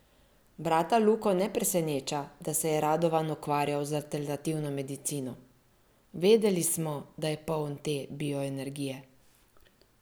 Brata Luko ne preseneča, da se je Radovan ukvarjal z alternativno medicino: "Vedeli smo, da je poln te bioenergije.